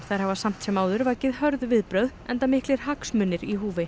þær hafa samt sem áður vakið hörð viðbrögð enda miklir hagsmunir í húfi